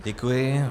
Děkuji.